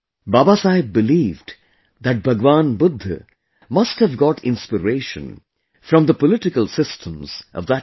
Babasaheb believed that Lord Buddha must have got inspiration from the political systems of that time